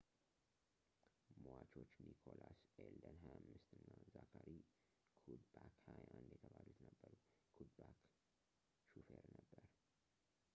ሟቾች ኒኮላስ አልዴን 25 እና ዛካሪ ኩድባክ 21 የተባሉት ነበሩ ኩድባክ ሾፌር ነበር